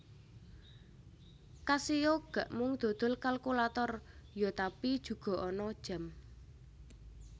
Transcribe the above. Casio gak mung dodol kalkulator yo tapi juga ana jam